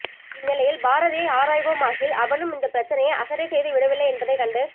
இந்நிலையில் பாரதியை ஆராய்வோமாகில் அவனும் இந்தப் பிரச்சினையை அசட்டை செய்து விடவில்லை என்பதைக் கண்டு